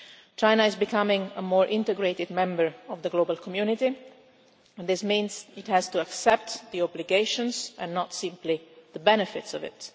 China is becoming a more integrated member of the global community and this means it has to accept the obligations and not simply the benefits of it.